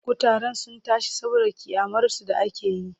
Kutaren sun tashi saboda ƙyamarsu da ake yi.